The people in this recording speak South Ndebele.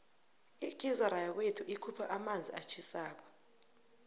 igizara yakwethu ikhupha amanzi atjhisako